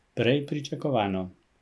Prej pričakovano.